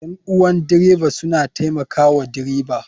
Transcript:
Ƴan uwan dreba suna taimaka wa dreba